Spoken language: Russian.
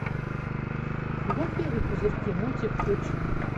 гуппи и пузырьки мультик включи